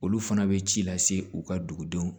Olu fana bɛ ci lase u ka dugudenw